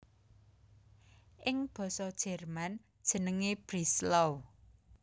Ing basa Jerman jenengé Breslau